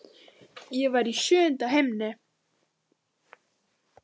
Ég var í sjöunda himni.